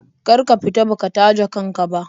Kar ka fita baka taje kan ka ba.